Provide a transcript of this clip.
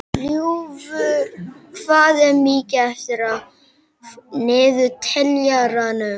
Ljúfur, hvað er mikið eftir af niðurteljaranum?